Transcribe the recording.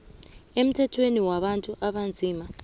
emthethweni wabantu abanzima